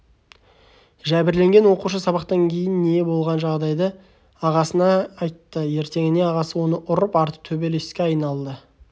жәбірленген оқушы сабақтан кейін болған жағдайды ағасына айтты ертеңіне ағасы оны ұрып арты төбелеске айналды